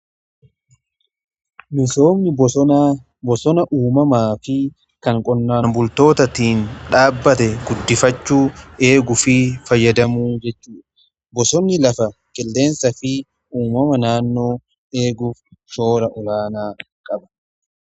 Misoomni bosona uumamaa fi kan qonnaan bultootatiin dhaabbate guddifachuu, eeguu fi fayyadamuu jechuudha. Bosonni lafa, qilleensaa fi uumama naannoo eeguuf shoora olaanaa qaba.